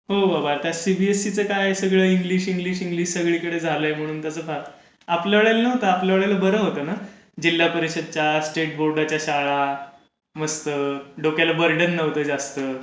हो आता. सीबीएसईचं काय. सगळं इंग्लिश इंग्लिश इंग्लिश सगळीकडे झालंय. म्हणून त्याचं फार. आपल्या वेळेला नव्हतं. आपल्या वेळेला बरं होतं ना. जिल्हा परिषदच्या, स्टेट बोर्डाच्या शाळा, मस्त. डोक्याला बर्डन नव्हतं जास्त.